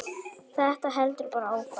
Þetta heldur bara áfram.